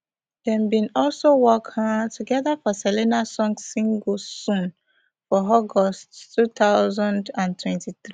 dem bin also work um togeda for selena song single soon for august two thousand and twenty-three